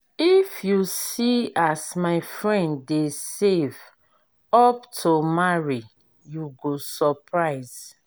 if you see as my friend dey save up to marry you go surprise.